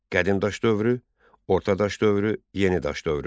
Qədim daş dövrü, Orta daş dövrü, Yeni daş dövrü.